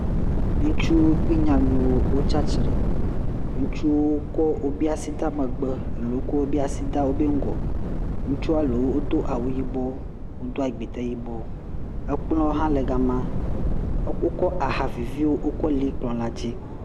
Ŋutsuwo kple nyanuwo wotsatsitre, ŋutsuwo wokɔ wobe asi de megbe ako wokɔ wobe asi de ŋgɔ, ŋutsu alo wodo awu yibɔ, wodo agbitɛ yibɔ, ekplɔ hã le gama, wokɔ ahaviviwo wokɔ li kplɔ la dzi.